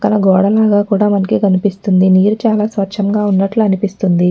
పక్కన గోడలాగా కూడా మనకి కనిపిస్తుందినీరు చాలా స్వచ్ఛంగా ఉన్నట్లు అనిపిస్తుంది.